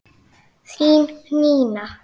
Þín Nína.